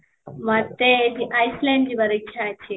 ମୋତେ Iceland ଯିବାର ଇଛା ଅଛି